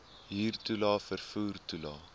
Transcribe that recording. huurtoelae vervoer toelae